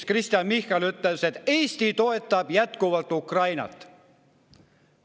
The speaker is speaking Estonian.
Kristen Michal ütles, et Eesti toetab jätkuvalt Ukrainat.